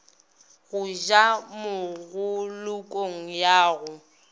go ja mopolokong ya go